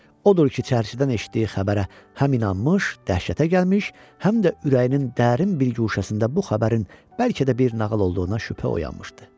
Odur ki, çərçidən eşitdiyi xəbərə həm inanmış, dəhşətə gəlmiş, həm də ürəyinin dərin bir guşəsində bu xəbərin bəlkə də bir nağıl olduğuna şübhə oyanmışdı.